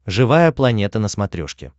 живая планета на смотрешке